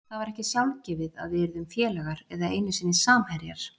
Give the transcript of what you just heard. Það var ekkert sjálfgefið að við yrðum félagar eða einu sinni samherjar.